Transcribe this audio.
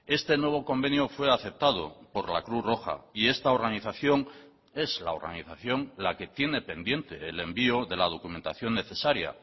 este nuevo convenio fue aceptado por la cruz roja y esta organización es la organización la que tiene pendiente el envío de la documentación necesaria